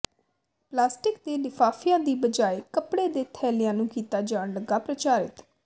plastic ਦੇ ਲਿਫਾਫਿਆਂ ਦੀ ਬਜਾਏ ਕੱਪੜੇ ਦੇ ਥੈਲਿਆਂ ਨੂੰ ਕੀਤਾ ਜਾਣ ਲੱਗਾ ਪ੍ਰਚਾਰਿਤ